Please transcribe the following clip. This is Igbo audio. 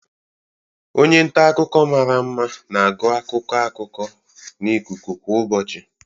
Onye nta akụkọ mara mma na-agụ akụkọ akụkọ na ikuku kwa ụbọchị.